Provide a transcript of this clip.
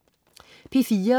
P4: